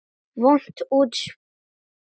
Vont útspil.